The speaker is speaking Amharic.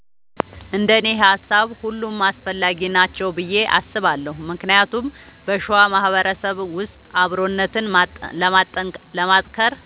እንደኔ ሃሳብ ሁሉም አስፈላጊ ናቸው ብዬ አስባለሁ ምክንያቱም በሸዋ ማህበረሰብ ውስጥ አብሮነትን ለማጥከር